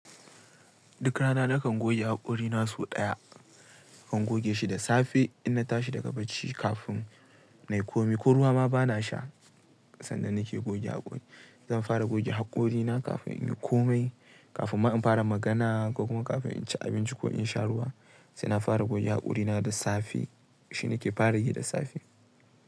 Duk rana nakan goge haƙorina sau ɗaya. Nakan goge shi da safe inna tashi daga bacci kafin nayi komai ko ruwa ma bana sha sannan nake goge haƙori. Zan fara goge haƙorina kafin inyi komai, kafin in fara magana ko kuma kafin inci abinci ko insha ruwa. Saina fara goge haƙori na da safe. Shi nake fara yi da safe.